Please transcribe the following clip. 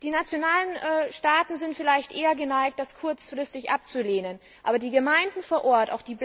Die Nationalstaaten sind vielleicht eher geneigt, das kurzfristig abzulehnen, als die Gemeinden vor Ort.